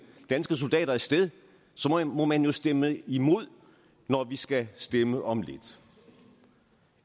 danske soldater af sted må man jo stemme imod når vi skal stemme om lidt